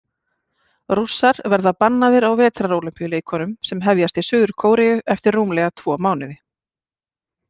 Rússar verða bannaðir á Vetrarólympíuleikunum sem hefjast í Suður-Kóreu eftir rúmlega tvo mánuði.